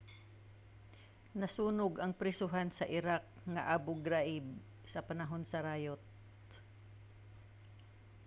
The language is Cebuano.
nasunog ang prisohan sa iraq nga abu ghraib sa panahon sa rayot